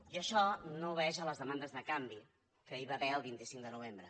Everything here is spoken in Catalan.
i això no obeeix a les demandes de canvi que hi va haver el vint cinc de novembre